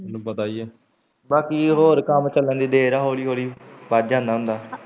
ਤੈਨੂੰ ਪਤਾ ਹੀ ਹੈ ਬਾਕੀ ਹੋਰ ਕੰਮ ਚੱਲਣ ਦੀ ਦੇਰ ਹੈ ਹੋਲੀ ਵੱਧ ਜਾਂਦਾ ਹੁੰਦਾ।